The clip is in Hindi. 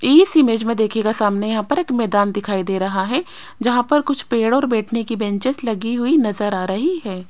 इस इमेज में देखिएगा सामने यहां पर एक मैदान दिखाई दे रहा है जहां पर कुछ पेड़ और बैठने की बेंचेज लगी हुई नजर आ रही है।